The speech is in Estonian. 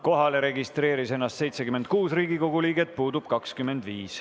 Kohalolijaks registreeris ennast 76 Riigikogu liiget, puudub 25.